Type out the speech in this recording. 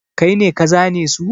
Kai ne ka zane su?